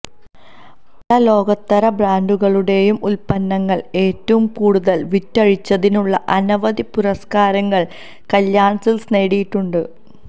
പല ലോകോത്തര ബ്രാന്ഡുകളുടെയും ഉല്പ്പന്നങ്ങള് ഏറ്റവും കൂടുതല് വിറ്റഴിച്ചതിനുള്ള അനവധി പുരസ്കാരങ്ങള് കല്യാണ് സില്ക്സ് നേടിയിട്ടുണ്ട്